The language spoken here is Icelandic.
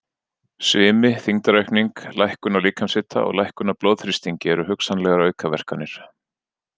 Svimi, þyngdaraukning, lækkun á líkamshita og lækkun á blóðþrýstingi eru hugsanlegar aukaverkanir.